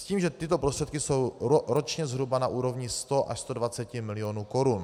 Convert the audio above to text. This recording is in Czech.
S tím, že tyto prostředky jsou ročně zhruba na úrovni 100 až 120 milionů korun.